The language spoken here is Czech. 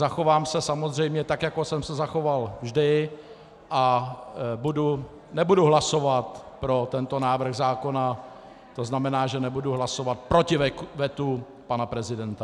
Zachovám se samozřejmě tak, jako jsem se zachoval vždy, a nebudu hlasovat pro tento návrh zákona, to znamená, že nebudu hlasovat proti vetu pana prezidenta.